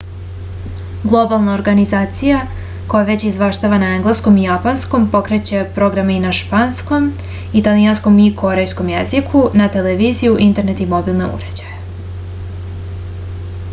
globalna organizacija koja već izveštava na engleskom i japanskom pokreće programe na španskom italijanskom i korejskom jeziku za televiziju internet i mobilne uređaje